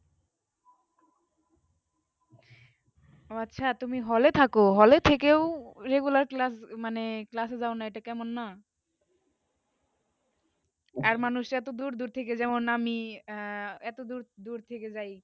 ওহ আচ্ছা তুমি hall এ থাকো hall এ থেকেও regular class মানে class এ যায় না এইটা কেমন না আর মঞ্জুস রা দূর দূর থেকে যেমন আমি এইতো দূর দূর থেকে জাই college